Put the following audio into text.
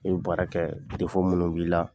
baara kɛ minnu b'i la.